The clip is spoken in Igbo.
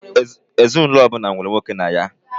Ezinaụlọ ọbụla nwere nwoke na ya.